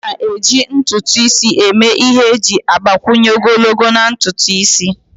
A na-eji ntutu isi eme ihe iji gbakwunye ogologo na ntutu isi.